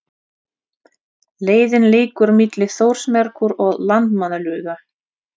Leiðin liggur milli Þórsmerkur og Landmannalauga.